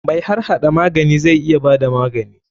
Mai harhada magani zai iya bada magani.